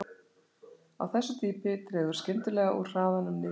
Á þessu dýpi dregur skyndilega úr hraðanum niður í